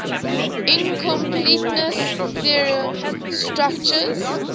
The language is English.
incompleteness theorem constructs